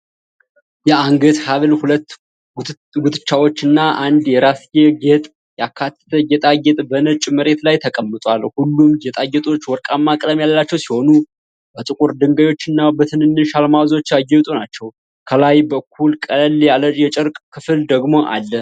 የአንገት ሐብል፣ ሁለት ጉትቻዎችና አንድ የራስጌ ጌጥን ያካተተ ጌጣጌጥ በነጭ መሬት ላይ ተቀምጧል። ሁሉም ጌጣጌጦች ወርቃማ ቀለም ያላቸው ሲሆኑ፣ በጥቁር ድንጋዮች እና በትንንሽ አልማዞች ያጌጡ ናቸው። ከላይ በኩል ቀለል ያለ የጨርቅ ክፍል ደግሞ አለ።